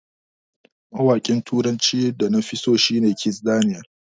Mawaƙin turacin da nafi so a da shi ne Kizz Daniel.